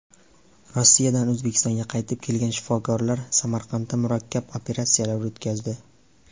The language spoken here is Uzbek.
Rossiyadan O‘zbekistonga qaytib kelgan shifokorlar Samarqandda murakkab operatsiyalar o‘tkazdi.